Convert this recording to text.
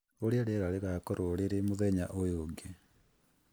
ũrĩa rĩera rĩgaakorũo rĩrĩ mũthenya ũyũ ũngĩ